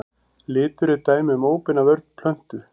Litur er dæmi um óbeina vörn plöntu.